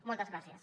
moltes gràcies